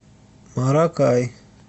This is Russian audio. маракай